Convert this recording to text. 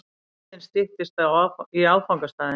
Leiðin styttist í áfangastaðinn.